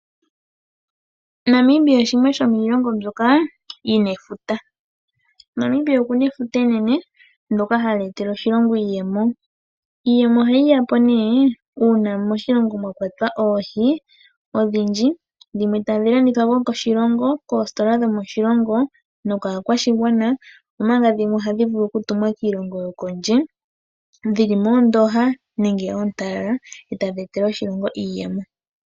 Namibia shimwe shomiilongo mbyoka yi na efuta. Namibia oku na efuta enene ndyoka hali etele oshilongo iiyemo. Iiyemo ohayi ya po nee ngele moshilongo mwa kwatwa oohi odhindji, dhimwe tadhi landithwa po koostola dhomoshilongo osho wo kaakwashigwana, dhimwe tadhi tumwa kiilongo yopondje dhi li moondooha nenge oontalala e tadhi etele oshilongo iiyemo.